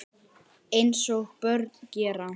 Eins og börn gera.